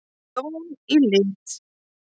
Jón í lit.